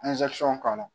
k'a la